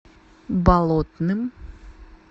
болотным